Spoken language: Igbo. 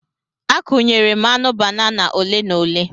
Akụnyere m aṅụ banana ole na ole.